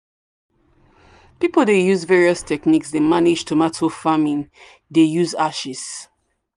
people dey use various techniques dey manage tomato farming dey use ashes.